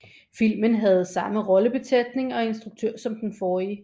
Filmen havde samme rollebesætning og instruktør som den forrige